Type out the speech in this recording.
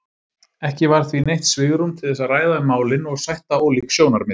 Ekki var því neitt svigrúm til þess að ræða um málin og sætta ólík sjónarmið.